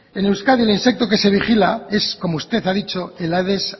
en euskadi el insecto que se vigila es como usted ha dicho el aades